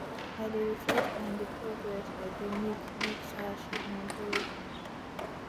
i dey reflect on di progress i dey make make to achieve my goals